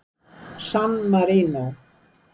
San Marínó